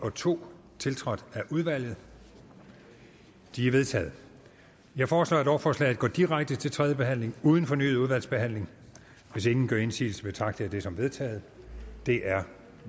og to tiltrådt af udvalget de er vedtaget jeg foreslår at lovforslaget går direkte til tredje behandling uden fornyet udvalgsbehandling hvis ingen gør indsigelse betragter jeg det som vedtaget det er